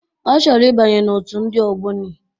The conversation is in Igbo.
Ọ chọrọ ịbanye n'otu ndị ogboni.